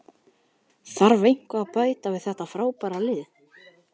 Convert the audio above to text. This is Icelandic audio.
Þarf eitthvað að bæta við þetta frábæra lið?